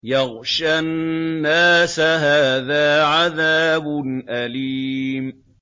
يَغْشَى النَّاسَ ۖ هَٰذَا عَذَابٌ أَلِيمٌ